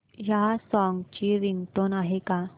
या सॉन्ग ची रिंगटोन आहे का